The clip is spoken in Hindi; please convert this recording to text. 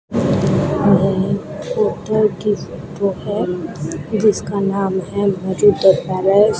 यह एक होटल की फोटो है जिसका नाम है पैलेस ।